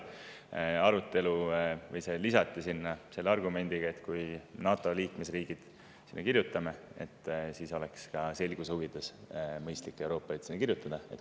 lisati selle argumendiga, et kui NATO liikmesriigid me sinna kirjutame, siis oleks selguse huvides mõistlik ka Euroopa Liit sinna sisse kirjutada.